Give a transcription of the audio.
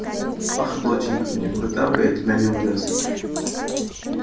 ах доченька никуда бы я тебя не увёз